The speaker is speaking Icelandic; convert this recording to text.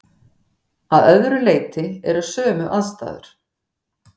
Að öðru leyti eru sömu aðstæður.